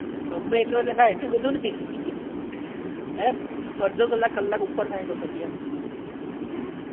ગમે એટલો એટલું બધું પણ નહીં એ અડધો કલાક કલાક ઉપર થાય તો પછી એમ